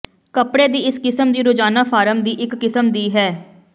ਕੱਪੜੇ ਦੀ ਇਸ ਕਿਸਮ ਦੀ ਰੋਜ਼ਾਨਾ ਫਾਰਮ ਦੀ ਇੱਕ ਕਿਸਮ ਦੀ ਹੈ